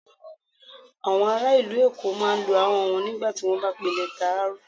Awọn ara ilu Èkó máa ń lọ́ ahọn wọn nigba ti wọn ba n pe lẹta R.